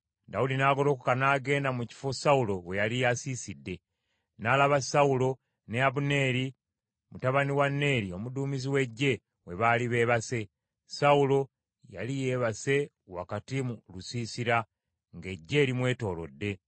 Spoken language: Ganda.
Dawudi n’agolokoka n’agenda mu kifo Sawulo we yali asiisidde. N’alaba Sawulo ne Abuneeri mutabani wa Neeri omuduumizi w’eggye, we baali beebase. Sawulo yali yeebase wakati mu lusiisira, ng’eggye limwetoolodde.